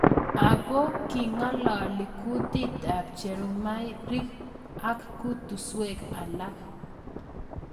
Ago king'alalii kutit ap pchumarik ak kutuswek alak